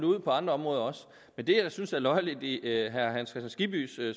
ud på andre områder også men det jeg synes er løjerligt i herre hans kristian skibbys